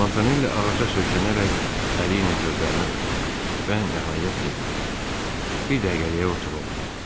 Montanelli ağaca söykənərək əli ilə gözlərini örtdü və nəhayət dedi: "Bir dəqiqəliyə otur, oğlum."